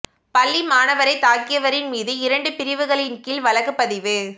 பள்ளி மாணவரை தாக்கியவரின் மீது இரண்டு பிரிவுகளின் கீழ் வழக்குப் பதிவு